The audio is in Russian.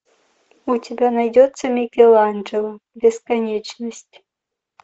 у тебя найдется микеланджело бесконечность